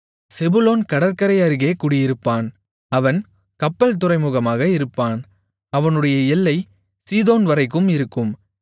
செபுலோன் கடற்கரை அருகே குடியிருப்பான் அவன் கப்பல் துறைமுகமாக இருப்பான் அவனுடைய எல்லை சீதோன்வரைக்கும் இருக்கும்